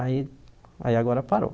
Aí aí agora parou.